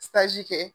kɛ